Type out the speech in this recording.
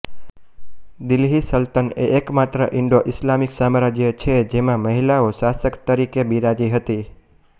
દિલ્હી સલ્તનતએ એકમાત્ર Indo Islamic સામ્રાજ્ય છે જેંમા મહિલાઓ શાસક તરીકે બિરાજી હતી